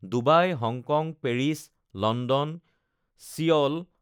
Dubai Hong Kong Paris London Seoul